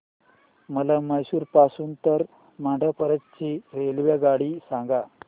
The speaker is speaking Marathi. मला म्हैसूर पासून तर मंड्या पर्यंत ची रेल्वेगाडी सांगा